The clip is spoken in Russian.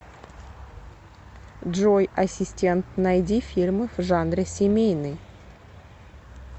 джой ассистент найди фильмы в жанре семейный